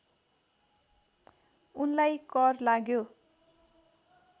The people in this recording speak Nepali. उनलाई कर लाग्यो